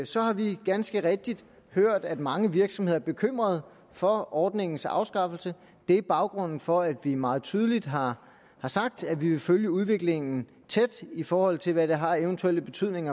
så har vi ganske rigtigt hørt at mange virksomheder er bekymret for ordningens afskaffelse det er baggrunden for at vi meget tydeligt har sagt at vi vil følge udviklingen tæt i forhold til hvad det har af eventuel betydning